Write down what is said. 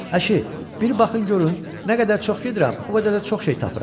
Ayşı, bir baxın görün, nə qədər çox gedirəm, o qədər də çox şey tapıram.